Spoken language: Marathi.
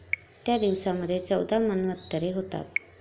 त्या दिवसामध्ये चौदा मन्वंतरे होतात.